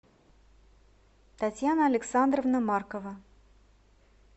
татьяна александровна маркова